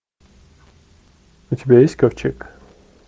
у тебя есть ковчег